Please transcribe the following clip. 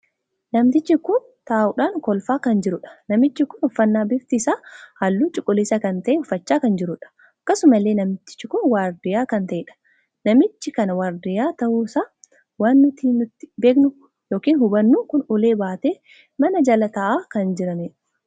Namtichi kun taa'uudhaan kolfaa kan jiruudha. namichi kun uffannaa bifti isaa halluu cuquliisa kan tahee uffachaa kan jiruudha. akkasumallee namichi kun waardiyyaa kan taheedha. namicha kana waardiyyaa tahu isaa waan nuti ittiin beeku ykn hubannu kun ulee baatee mana jala taa'aan kan jiraniidha.